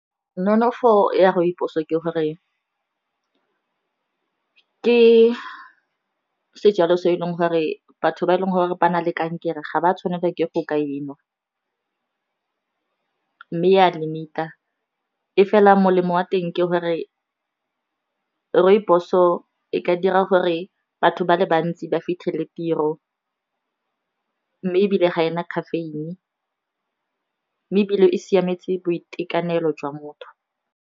Nonofo ya rooibos ke gore ke sejalo se e leng gore batho ba e leng gore ba na le kankere ga ba tshwanela ke go ka e nwa mme ya limit-a e fela molemo wa teng ke gore rooibos-o e ka dira gore batho ba le bantsi ba fitlhele tiro, mme e bile ga ena caffeine-e, e bile e siametse boitekanelo jwa motho.